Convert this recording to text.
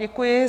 Děkuji.